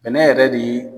Bɛnɛ yɛrɛ de